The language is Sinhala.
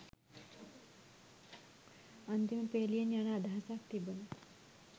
අන්තිම පේලියෙන් යන අදහසක් තිබුන